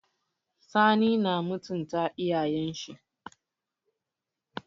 Sani na mutunta iyayen shi.